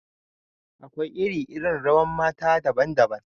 Akwai iri-iri rawan mata daban-daban.